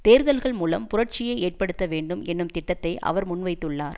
தேர்தல்கள் மூலம் புரட்சியை ஏற்படுத்த வேண்டும் என்னும் திட்டத்தை அவர் முன்வைத்துள்ளார்